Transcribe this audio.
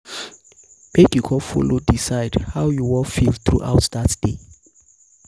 mek you con follow decide how follow decide how yu wan feel um thru um out dat day